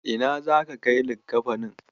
Ina zaka kai likkafanin?